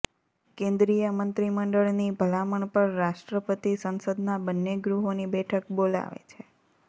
કેન્દ્રીય મંત્રીમંડળની ભલામણ પર રાષ્ટ્રપતિ સંસદના બન્ને ગૃહોની બેઠક બોલાવે છે